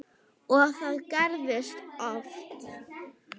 Og það gerðist oft.